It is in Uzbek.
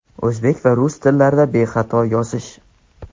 o‘zbek va rus tillarida bexato yozish.